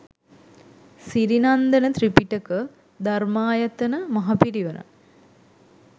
Sirinandana Tripitaka Dharmayatana Maha Pirivena